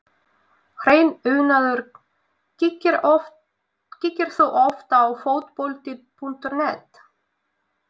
Hreinn unaður Kíkir þú oft á Fótbolti.net?